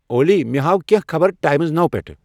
اولی، مے ہاو کینٛہہ خبر ٹایمٕز نَو پیٹھ ۔